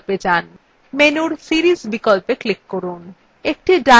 menu series বিকল্পে click করুন